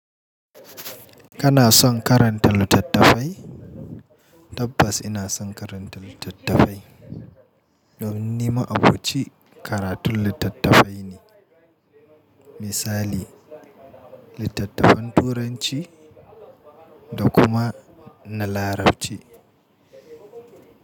Kana son karanta littattafai? Tabbas ina son karanta littattafai. Domin ni ma'aboci karatun littattafai ne. Misali, littattafan Turanci da kuma na Larabci.